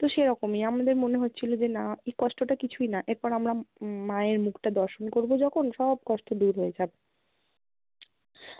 তো সেরকমই আমাদের মনে হচ্ছিলো যে না এই কষ্টটা কিছুই না এর পর আমরা উম মায়ের মুখটা দর্শন করবো যখন সব কষ্ট দূর হয়ে যাবে।